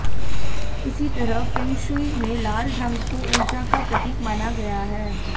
इसी तरह फेंगशुई में लाल रंग को ऊर्जा का प्रतीक माना गया है